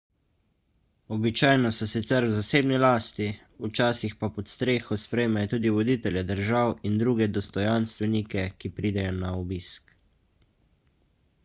običajno so sicer v zasebni lasti včasih pa pod streho sprejmejo tudi voditelje držav in druge dostojanstvenike ki pridejo na obisk